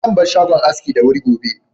Zan bar shagon aski da wuri gobe.